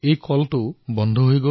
তেওঁলোকৰ ধানৰ মিলৰ কাম বন্ধ হৈ পৰিল